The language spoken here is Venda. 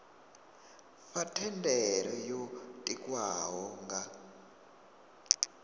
fha thendelo yo tikwaho nga